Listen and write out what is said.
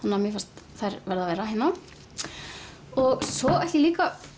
mér fannst þær verða að vera hérna og svo ætla ég líka